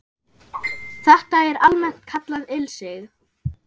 Þetta er almennt kallað ilsig